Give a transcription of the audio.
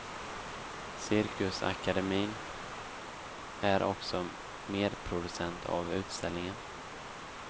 Cirkusakademien är också medproducent av utställningen.